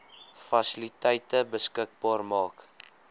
fasiliteite beskikbaar maak